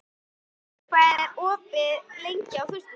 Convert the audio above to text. Svanlaug, hvað er opið lengi á föstudaginn?